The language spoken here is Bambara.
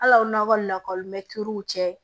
Hal'aw nakɔ lakɔlimɛtiriw cɛ